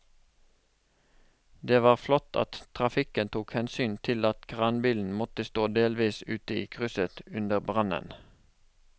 Det var flott at trafikken tok hensyn til at kranbilen måtte stå delvis ute i krysset under brannen.